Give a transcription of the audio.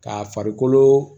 K'a farikolo